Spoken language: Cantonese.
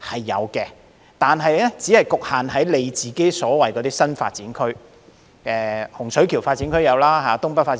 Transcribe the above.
有的，但只限於新發展區——洪水橋發展區、東北發展區。